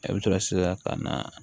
E bɛ to sisan ka na